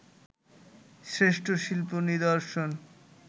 শ্রেষ্ঠ শিল্প নিদর্শন